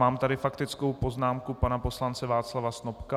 Mám tady faktickou poznámku pana poslance Václava Snopka...